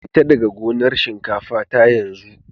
Fita daga gonar shinkafa ta yanzu!